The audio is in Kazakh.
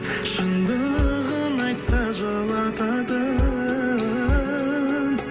шындығын айтса жылытатын